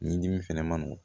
Ɲi dimi fɛnɛ ma nɔgɔn